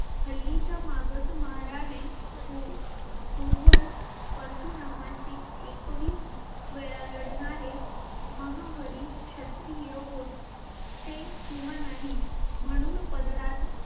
हल्लीच्या मागास महाराने पू पूर्वज परशुरामाशी एकवीस वेळा लढणारे महाहरी क्षत्रिय होते किंवा नाही म्हणून पदरात